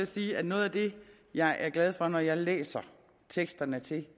sige at noget af det jeg er glad for når jeg læser teksterne til